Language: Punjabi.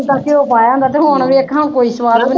ਤੇ ਜਿੰਦਾ ਘਿਓ ਪਾਇਆ ਹੁੰਦਾ ਤੇ ਹੁਣ ਵੇਖ ਕੋਈ ਸਵਾਦ ਨਹੀਂ